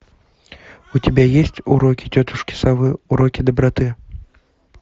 у тебя есть уроки тетушки совы уроки доброты